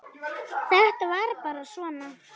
Þetta var bara svona.